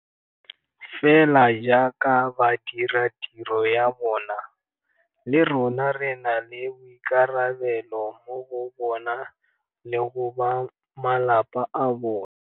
Fela jaaka ba dira tiro ya bona, le rona re na le boikarabelo mo go bona le go bamalapa a bona.